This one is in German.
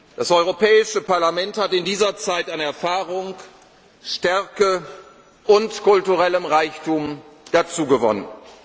arbeiten. Das Europäische Parlament hat in dieser Zeit an Erfahrung, Stärke und kulturellem Reichtum dazu